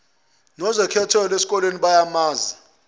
nozekhethelo eskoleni bayamazi